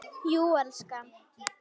Jú, elskan.